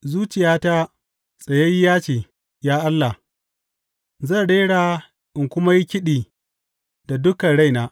Zuciyata tsayayyiya ce, ya Allah; zan rera in kuma yi kiɗi da dukan raina.